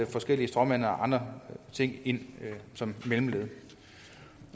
forskellige stråmænd eller andre ind som mellemled